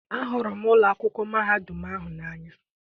ahụrụ m ụlọ akwụkwọ mahadum n'anya